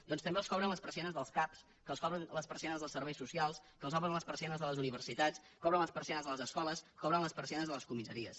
doncs també els que els obren les persianes dels cap els que els obren les persianes dels serveis socials que els obren les persianes de les universitats els que obren les persianes de les escoles els que obren les persianes de les comissaries